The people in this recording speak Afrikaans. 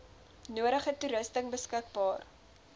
nodige toerusting beskikbaar